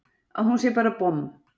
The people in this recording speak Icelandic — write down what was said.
Að hún sé bara bomm!